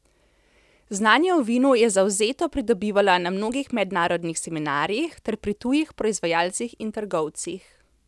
Znanje o vinu je zavzeto pridobivala na mnogih mednarodnih seminarjih ter pri tujih proizvajalcih in trgovcih.